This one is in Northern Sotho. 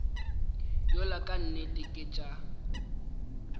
yola ka nnete ke tša